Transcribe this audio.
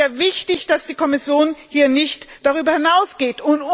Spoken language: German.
Es ist sehr wichtig, dass die Kommission hier nicht darüber hinausgeht.